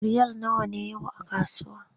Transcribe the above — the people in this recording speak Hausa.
Riyal nawa ne yau a kasuwa?